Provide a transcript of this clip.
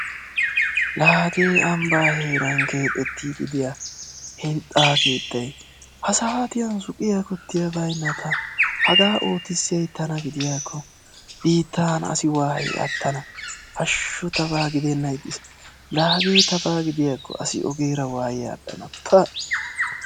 La hagee ambbaa heeran keexettiiddi de7iya hintsa keettayi hasaatiyan suqiya kuttiya bayinna ta hagaa ootissiyayi tana gidiyaakko biittan asi waayi attana hashshu tabaa gidennan ixxes la hagee tabaa gidiyakko asi ogeera waayi aadhdhan pa!